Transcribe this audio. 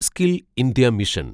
skill India mission